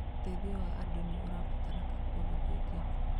Ũteithio wa andũ nĩ ũrabatarĩka kũndũ kũingĩ.